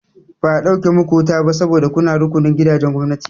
Ba a ɗauke muku wuta ba sabo da kuna rukunin gidajen gwamnati.